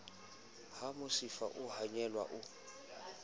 ha mosifa o honyela o